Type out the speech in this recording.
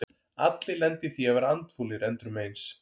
Allir lenda í því að vera andfúlir endrum og eins.